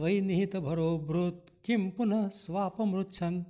त्वयि निहितभरोऽभृत् किं पुनः स्वापमृच्छन्